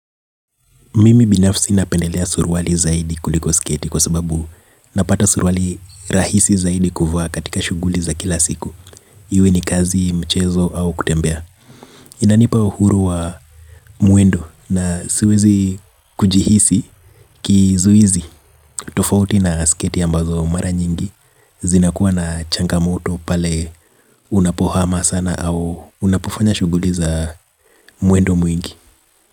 Mimi binafsi napendelea suruali zaidi kuliko sketi kwa sababu napata suruali rahisi zaidi kuvaa katika shughuli za kila siku. Iwe ni kazi, mchezo au kutembea. Inanipa uhuru wa mwendo na siwezi kujihisi kizuizi. Tofauti na sketi ambazo mara nyingi zinakuwa na changamoto pale unapohama sana au unapofanya shughuli za mwendo mwingi.